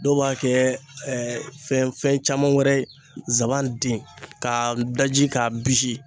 Dɔw b'a kɛ fɛn caman wɛrɛ ye ,zanban den k'a daji k'a bisi.